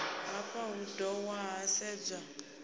hafha hu dohwa ha sedzwa